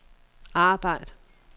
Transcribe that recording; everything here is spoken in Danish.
arbejd